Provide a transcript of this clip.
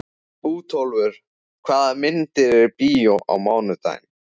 Bótólfur, hvaða myndir eru í bíó á mánudaginn?